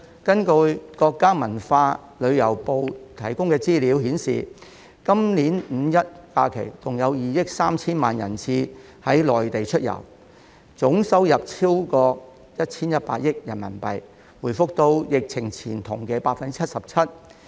根據國家文化和旅遊部的資料顯示，今年五一假期，共有2億 3,000 萬人次於國內出遊，總收入超過 1,100 億元人民幣，回復至疫前同期的 77%。